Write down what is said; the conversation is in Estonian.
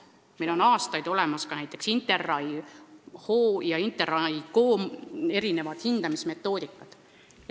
Meil on aastaid olemas olnud näiteks interRAI-HO ja interRai-KO hindamismetoodikad.